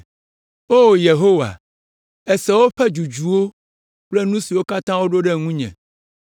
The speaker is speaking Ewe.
O Yehowa, èse woƒe dzudzuwo kple nu siwo katã woɖo ɖe ŋunye